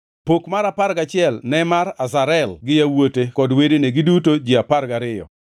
Pok mar apar gachiel ne mar Azarel gi yawuote kod wedene, giduto ji apar gariyo,